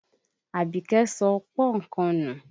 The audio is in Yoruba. Àbíkẹ́ sọ pọ́nkan nù.